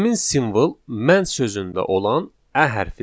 Həmin simvol mən sözündə olan ə hərfidir.